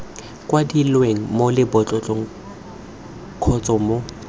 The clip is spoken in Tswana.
kwadilweng mo lebotlolong kgotsa mo